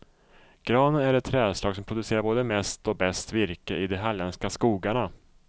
Granen är det trädslag som producerar både mest och bäst virke i de halländska skogarna.